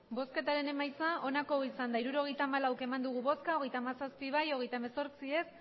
emandako botoak hirurogeita hamalau bai hogeita hamazazpi ez hogeita hemezortzi